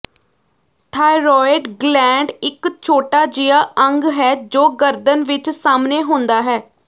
thyroid gland ਇਕ ਛੋਟਾ ਜਿਹਾ ਅੰਗ ਹੈ ਜੋ ਗਰਦਨ ਵਿਚ ਸਾਹਮਣੇ ਹੁੰਦਾ ਹੈ